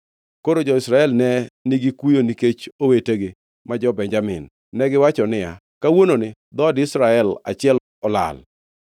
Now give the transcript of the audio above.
Koro jo-Israel ne nigi kuyo nikech owetegi, ma jo-Benjamin. Negiwacho niya, “Kawuononi dhood Israel achiel olal.